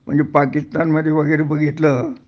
म्हणजे पाकिस्तान मधे वगैरे बघितलं